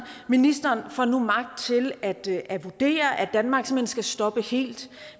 ministeren får nu magt til at til at vurdere at danmark simpelt hen skal stoppe helt